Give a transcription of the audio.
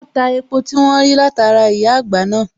wón ta epo tí wón rí látara ìyá àgbà náà